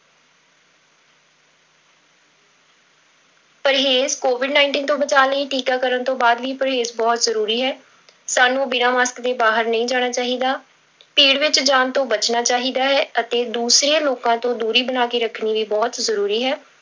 ਪਰਹੇਜ਼ covid nineteen ਤੋਂ ਬਚਾਅ ਲਈ ਟੀਕਾਕਰਨ ਤੋਂ ਬਾਅਦ ਵੀ ਪਰਹੇਜ਼ ਬਹੁਤ ਜ਼ਰੂਰੀ ਹੈ, ਸਾਨੂੰ ਬਿਨਾਂ mask ਦੇ ਬਾਹਰ ਨਹੀਂ ਜਾਣਾ ਚਾਹੀਦਾ, ਭੀੜ ਵਿੱਚ ਜਾਣ ਤੋਂ ਬਚਣਾ ਚਾਹੀਦਾ ਹੈ ਅਤੇ ਦੂਸਰੇ ਲੋਕਾਂ ਤੋਂ ਦੂਰੀ ਬਣਾ ਕੇ ਰੱਖਣੀ ਵੀ ਬਹੁਤ ਜ਼ਰੂਰੀ ਹੈ।